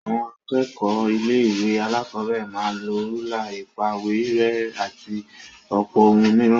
Àwọn akẹ́kọ̀ọ́ ilé-ìwé alákọ̀ọ́bẹ̀rẹ̀ máa ń lọ rúlà, ìpàwérẹ́, àti ọ̀pọ̀ ohun mìíràn.